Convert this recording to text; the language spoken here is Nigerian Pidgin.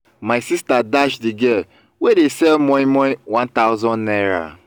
my sister dash the girl wey dey sell moimoi one thousand naira